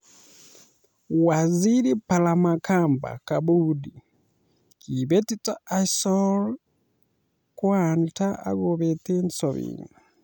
Waziri Palamagamba Kabudi:'Kibetito Azory Gwanda akobeet sobenyi'